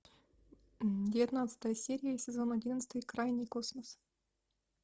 девятнадцатая серия сезон одиннадцатый крайний космос